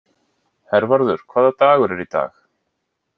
Hervarður, hvaða dagur er í dag?